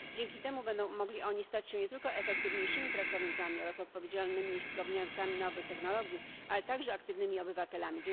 Dzięki temu będą mogli oni stać się nie tylko efektywniejszymi pracownikami oraz odpowiedzialnymi użytkownikami nowych technologii, ale także aktywnymi obywatelami.